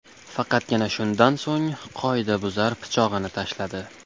Faqatgina shundan so‘ng qoidabuzar pichog‘ini tashladi.